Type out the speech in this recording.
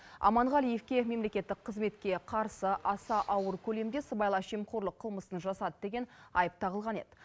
аманғалиевке мемлекеттік қызметке қарсы аса ауыр көлемде сыбайлас жемқорлық қылмысын жасады деген айып тағылған еді